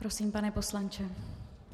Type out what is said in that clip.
Prosím, pane poslanče.